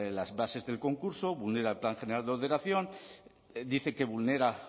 las bases del concurso vulnera el plan general de ordenación dice que vulnera